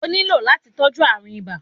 O ní lò láti tọ́jú árùn ibà